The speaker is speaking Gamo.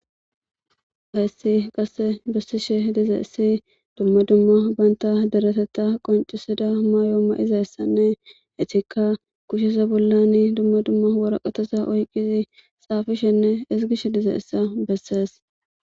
Haysi qase bishe dizaysi duma duma banta deretetha qonc'isiza Mayo mayida asati dizaysanne eetika kusheza bolla duma duma woraqata oykidi xaafishene ezgishe dizaysa besses.